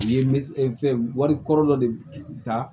U ye misigɛn wali kɔrɔ dɔ de ta